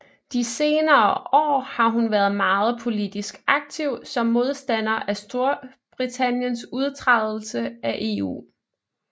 De senere år har hun været meget politisk aktiv som modstander af Storbritanniens udtrædelse af EU